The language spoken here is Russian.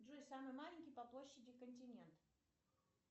джой самый маленький по площади континент